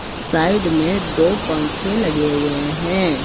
Side में दो पंखे लगे हुए हैं।